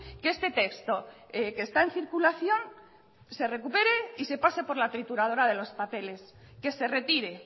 que este texto que está en circulación se recupere y se pase por la trituradora de los papeles que se retire